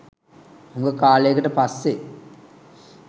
හුඟ කාලයකට පස්සේ.